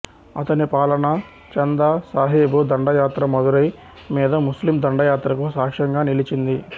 అతని పాలన చందా సాహిబు దండయాత్ర మదురై మీద ముస్లిం దండయాత్రకు సాక్ష్యంగా నిలిచింది